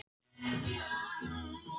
Já, en hún lætur bara ekkert í friði.